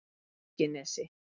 Fiskinesi